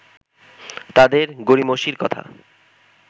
তাদের গড়িমসির কথা